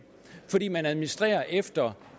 fordi man administrerer efter